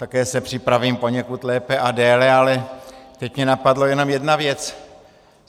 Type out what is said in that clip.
Také se připravím poněkud lépe a déle, ale teď mě napadla jenom jedna věc.